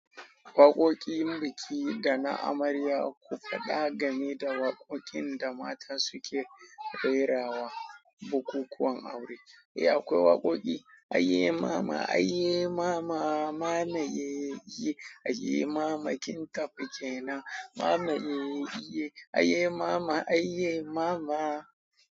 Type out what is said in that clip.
Waƙoƙin biki da na amarya suka ɗaga ne da waƙoƙin da mata suke rera wa bukukuwan aure. Eh akwai waƙoƙi. Aiye mama aiye aiye mama mama ye iye, aiye mama kin tagi kenan mama ye iye Aye mama, aye mama.